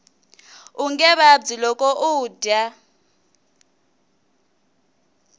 unge vabyi loko u dya